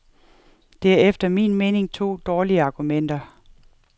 Det er efter min mening to dårlige argumenter.